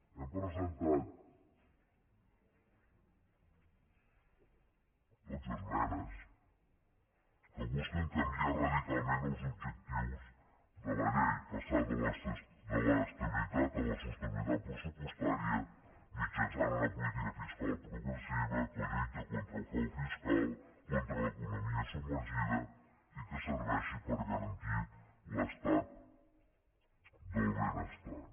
hem presentat dotze esmenes que busquen canviar radicalment els objectius de la llei passar de l’estabilitat a la sostenibilitat pressupostària mitjançant una política fiscal progressiva que lluita contra el frau fiscal contra l’economia submergida i que serveixi per garantir l’estat del benestar